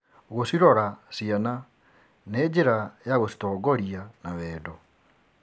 Gũcirora ciana nĩ njĩra ya gũcitongoria na wendo.